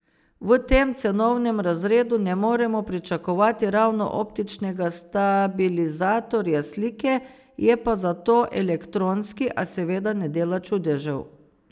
V tem cenovnem razredu ne moremo pričakovati ravno optičnega stabilizatorja slike, je pa zato elektronski, a seveda ne dela čudežev.